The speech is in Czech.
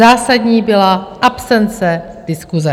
Zásadní byla absence diskuse.